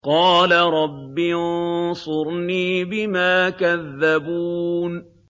قَالَ رَبِّ انصُرْنِي بِمَا كَذَّبُونِ